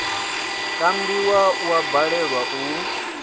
kambiwa u a balelwa u